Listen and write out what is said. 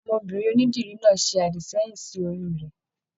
Ọmọbinrin onídìrí náà se adisẹ̀yin sí orí rẹ.